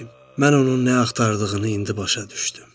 Mən onun nə axtardığını indi başa düşdüm.